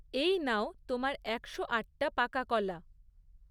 এই নাও তোমার একশো আটটা পাকা কলা।